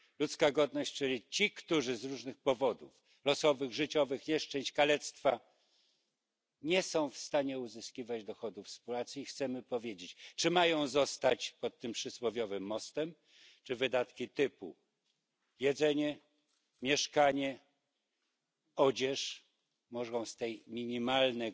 Ludzka godność, czyli ci, którzy z różnych powodów losowych, życiowych, nieszczęść, kalectwa nie są w stanie uzyskiwać dochodów z pracy, i chcemy im powiedzieć, czy mają zostać pod tym przysłowiowym mostem, czy wydatki typu jedzenie, mieszkanie, odzież mogą być finansowane z tego minimalnego